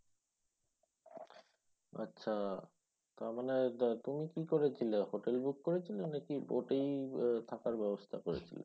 আচ্ছা তার মানে তা তুমি কি করেছিলে? hotel book করেছিলে নাকি boat এই আহ থাকার ব্যবস্থা করেছিলে?